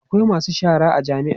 akwai masu shara a jami'a